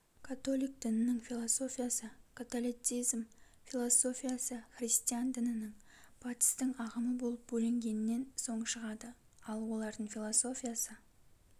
католиқ дінінің философиясы қатолицизм философиясы христиан дінінің батыстың ағымы болып бөлінгеннен соң шығады ал олардың философиясы